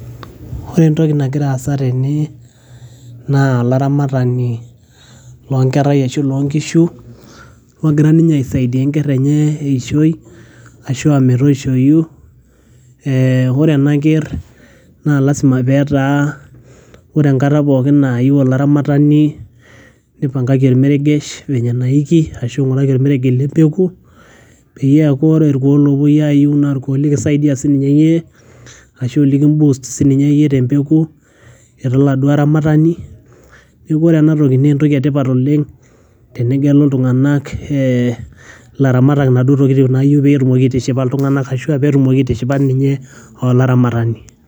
ore entoki nagira aasa tene naa olaramatani loo nkerrai arashu lonkishu logira ninye aisaidia enkerr enye eishoi ashua metoishoyu ee ore ena kerr naa lasima petaa ore enkata pookin nayieu olaramatani nipang'aki ormeregesh venye enaiki ashu ing'uraki ormeregesh lempeku peyiee eeku ore irkuo lopuoi ayiu naa irkuo likisaidia sininye iyie ashu likim boost sininye iyie tempeku ira oladuo aramatani neeku ore enatoki naa entoki etipat oleng tenegelu iltung'anak eh, ilaramatak inaduo tokitin nayieu petumoki aitishipa iltung'anak ashua petumoki aitishipa ninye olaramatani.